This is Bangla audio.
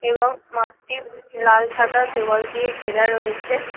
এবংমাঠটি লাল সাদা দেওয়াল দিয়ে ঘেরা রয়েছে ।